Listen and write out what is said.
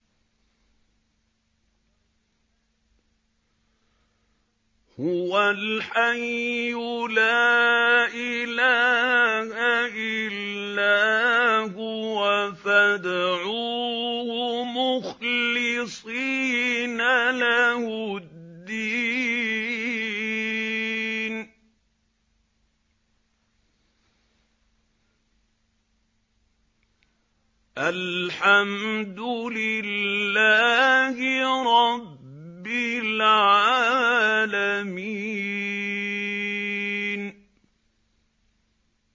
هُوَ الْحَيُّ لَا إِلَٰهَ إِلَّا هُوَ فَادْعُوهُ مُخْلِصِينَ لَهُ الدِّينَ ۗ الْحَمْدُ لِلَّهِ رَبِّ الْعَالَمِينَ